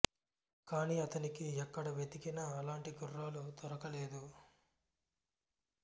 కాన్ని అతనికి ఎక్కడ వెతికినా అలాంటి గుర్రాలు దొరక లేదు